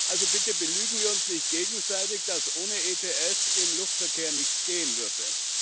Also bitte belügen wir uns nicht gegenseitig, dass ohne ETS im Luftverkehr nichts gehen würde.